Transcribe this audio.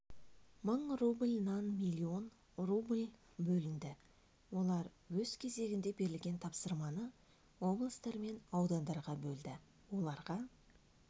мың рубль нан миллион рубль бөлінді олар өз кезегінде берілген тапсырманы облыстар мен аудандарға бөлді оларға